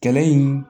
Kɛlɛ in